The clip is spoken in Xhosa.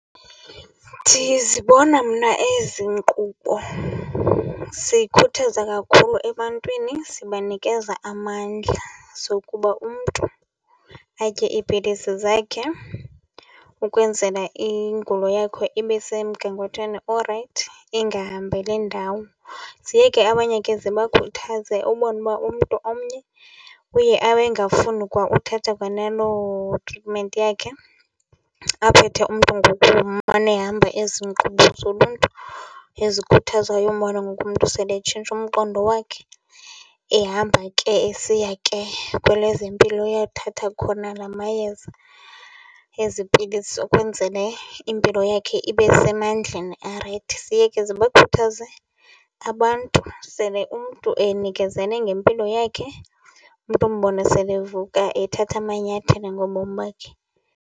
Ndizibona mna ezi nkqubo zikhuthaza kakhulu ebantwini zibanikeza amandla zokuba umntu atye iipilisi zakhe ukwenzela ingulo yakho ibesemgangathweni orayithi, ingahambeli ndawo. Ziye ke abanye ke zibakhuthaze ubone uba umntu omnye uye abe engafuni kwa uthatha kwanaloo treatment yakhe, aphethe umntu ngokumane ehamba ezi nkqubo zoluntu ezikhuthazayo. Umbone ngoku umntu sele etshintshe umqondo wakhe ehamba ke esiya ke kwelezempilo eyothatha khona lama yeza, ezi pilisi ukwenzele impilo yakhe ibe semandleni arayithi. Ziye ke zibakhuthaze abantu sele umntu enikezele ngempilo yakhe, umntu umbone sele evuka ethatha amanyathelo ngobomi bakhe.